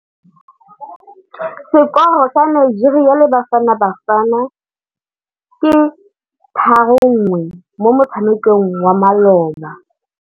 Sekôrô sa Nigeria le Bafanabafana ke 3-1 mo motshamekong wa malôba.